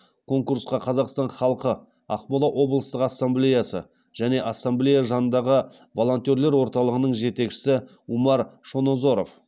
конкурсқа қазақстан халқы ақмола облыстық ассамблеясы және ассамблея жанындағы волонтерлер орталығының жетекшісі умар шонозоров